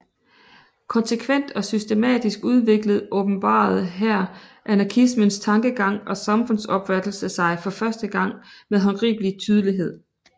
Konsekvent og systematisk udviklet åbenbarede her anarkismens tankegang og samfundsopfattelse sig for første gang med håndgribelig tydelighed